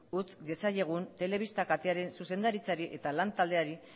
utz diezaiegun telebista katearen zuzendaritzari eta lan taldeari